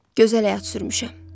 Hə, gözəl həyat sürmüşəm.